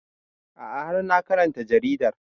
A'a har na karanta jaridar